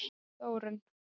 Þórunn